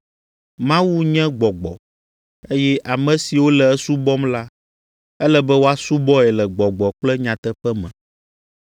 Mawu nye Gbɔgbɔ, eye ame siwo le esubɔm la, ele be woasubɔe le gbɔgbɔ kple nyateƒe me.”